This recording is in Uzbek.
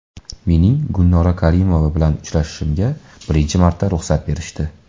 Mening Gulnora Karimova bilan uchrashishimga birinchi marta ruxsat berishdi.